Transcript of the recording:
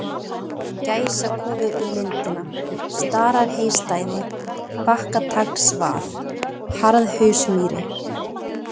Gæsakofi við Lindina, Stararheystæði, Bakkataglsvað, Harðhausmýri